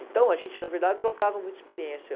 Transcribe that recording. Então, a gente, na verdade, trocava muita experiência.